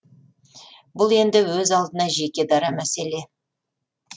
бұл енді өз алдына жеке дара мәселе